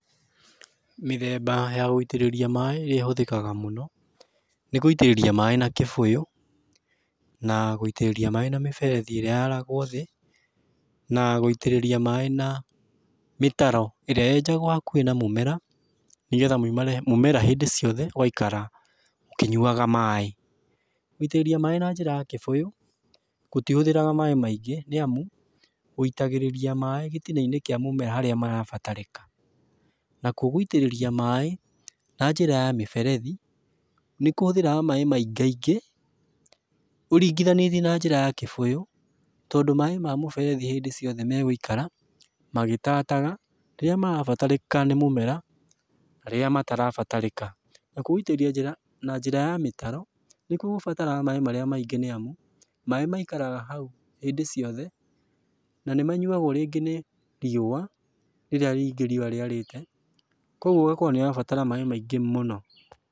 Mĩthemba ya gũitĩrĩria maaĩ ĩrĩa ĩhũthĩka mũno, nĩ gũitĩrĩria maaĩ na kĩbũyũ, na gũitĩrĩria maaĩ na miberethi ĩrĩa yaragwo thĩ na gũitĩrĩria maaĩ na mĩtaro ĩrĩa yenjagwo hakuhĩ na mũmera nĩgetha mũmera hindi ciothe ũgaikara ũkĩnyuaga maaĩ. Gũitĩrĩrĩa maaĩ na njĩra ya kĩbũyũ gũtihũthagĩra maaĩ maingĩ nĩamu ũitagĩrĩria maaĩ gĩtina-inĩ kĩa mũmera harĩa marabatarĩka na kuũ gũitĩrĩria maaĩ na njĩra ya mĩberethi nĩkũhũthagĩra maaĩ maingaingĩ ũringithanĩtie na njĩra ya kĩbũyũ tondũ maaĩ ma mũberethi hĩndĩ ciothe megũikara magitataga rĩrĩa marabatarĩka nĩ mũmera na rĩrĩa matarabatarĩka. Na kuũ guĩtĩrĩria na njĩra ya mĩtaro nĩkuo gũbataraga maaĩ marĩa maingĩ nĩamu maaĩ maĩkaraga hau hindi ciothe na nĩ manyuagwo ringĩ nĩ riũa rĩrĩa rĩngĩ riũa rĩarĩte kogwo ũgakorwo nĩ ũrabatara maingĩ mũno.